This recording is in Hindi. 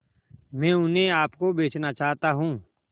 मैं उन्हें आप को बेचना चाहता हूं